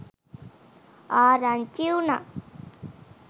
ආරංචි වුණා.